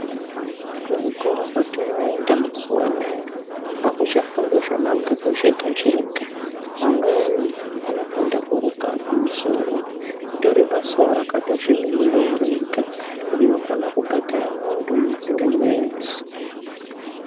Kuzvikoro kwatinooenda mazuwa anaya akuchafundwi zvemabhuku zvega zvegaa. Amweni anofunda kuruka musoro itoribasawo rakatozvimirirawo rega rinokono kubhadhara muntu mwedzi ngemwedzi.